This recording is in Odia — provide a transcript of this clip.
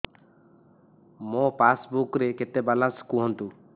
ମୋ ପାସବୁକ୍ ରେ କେତେ ବାଲାନ୍ସ କୁହନ୍ତୁ